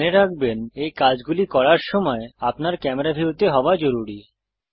মনে রাখবেন এই কাজগুলি করার জন্য আপনার ক্যামেরা ভিউতে হওয়া জরুরী